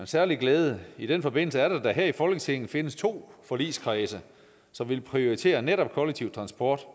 særlig glæde i den forbindelse er det at der her i folketinget findes to forligskredse som vil prioritere netop kollektiv transport